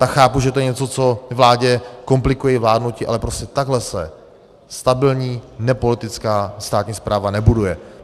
Tak chápu, že to je něco, co vládě komplikuje vládnutí, ale prostě takhle se stabilní nepolitická státní správa nebuduje.